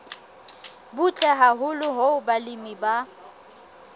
butle haholo hoo balemi ba